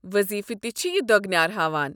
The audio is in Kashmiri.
وضیفہٕ تہِ چھِ یہِ دۄگنیار ہاوان ۔